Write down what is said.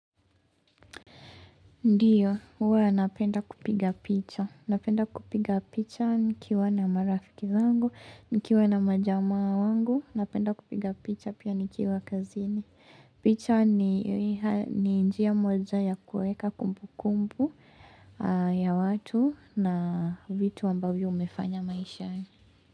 Ndiyo, huwa napenda kupiga picha, napenda kupiga picha nikiwa na marafiki zangu, nikiwa na majamaa wangu, napenda kupiga picha pia nikiwa kazini. Picha ni njia moja ya kuweka kumbu kumbu ya watu na vitu ambavyo mumefanya maishani.